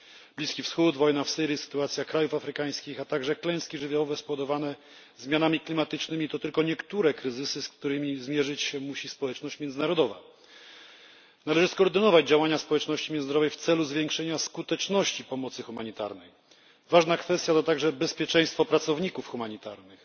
Bliski Wschód, wojna w Syrii, sytuacja krajów afrykańskich, a także klęski żywiołowe spowodowane zmianami klimatycznymi, to tylko niektóre kryzysy, z którymi zmierzyć się musi społeczność międzynarodowa. Należy skoordynować działania społeczności międzynarodowej w celu zwiększenia skuteczności pomocy humanitarnej. Ważna kwestia to także bezpieczeństwo pracowników humanitarnych.